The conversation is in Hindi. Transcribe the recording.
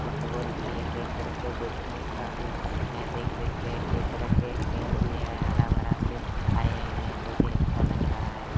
फुटबॉल भी है कई तरह के बैठने का भी है देख सकते हो कई तरह के पेड़ भी हैं हरा भरा सीन आए हुए हैं बहुत ही अच्छा लग रहा है।